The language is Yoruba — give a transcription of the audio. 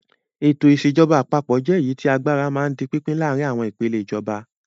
Ètò ìṣèjọba àpapọ̀ jẹ́ èyí tí agbára máa ń di pínpín láàárin àwọn ìpèlè ìjọba.